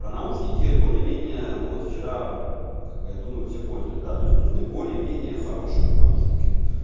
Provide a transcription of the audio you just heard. про наушники более-менее ну вот вчера как бы я думаю все поняли да то есть нужны более-менее хорошие наушники